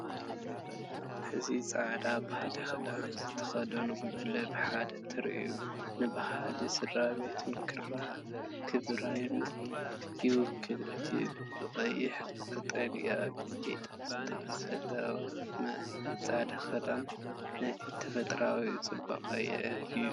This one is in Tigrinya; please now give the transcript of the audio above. እዚ ጻዕዳ ባህላዊ ክዳን ዝተኸድነ ጉጅለ ብሓደ ትርኢት ንባህልን ስድራቤታዊ ክብሪን ይውክል፤ እቲ ብቐይሕን ቀጠልያን ጌጽ ዝተሰለመ ጻዕዳ ክዳን ነቲ ተፈጥሮኣዊ ጽባቐ የዕብዮ።